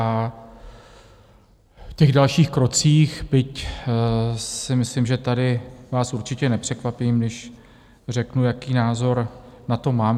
A v těch dalších krocích, byť si myslím, že tady vás určitě nepřekvapím, když řeknu, jaký názor na to mám.